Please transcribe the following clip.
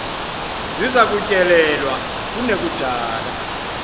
ziza kutyelelwa kunekudala